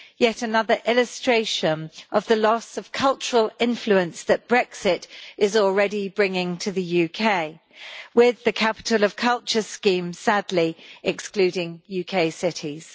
Yet another illustration of the loss of cultural influence that Brexit is already bringing to the UK, with the Capital of Culture scheme sadly excluding UK cities.